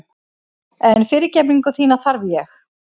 En fyrirgefningu þína þarf ég.